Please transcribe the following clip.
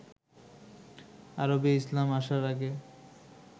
আরবে ইসলাম আসার আগে